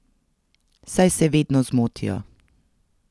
Saj se vedno zmotijo.